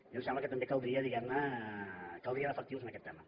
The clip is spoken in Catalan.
i em sembla que també caldria diguem ne efectius en aquest tema